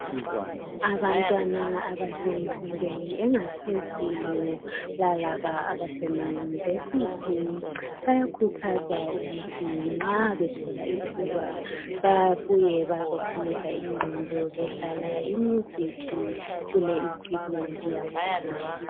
Abantwana abasemfundweni engaphezulu lalaba abasema yunivesithi bayakhuthazwa ukuthi nxa bethola ithuba babuye bezophumuza ingqondo bedlala i music kule equipment yakhona.